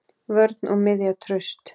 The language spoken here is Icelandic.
Vörn og miðja traust.